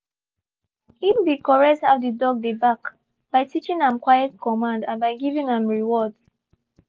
he been correct how the dog de bark by teaching am quiet command and by giving am rewards.